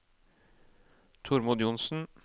Tormod Johnsen